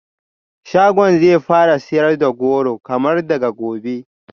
Shagon zai fara sayar da goro kamar daga gobe